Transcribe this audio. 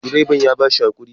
direban ya ba shi hakuri